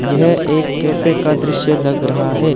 यह एक कैफे का दृश्य लग रहा है।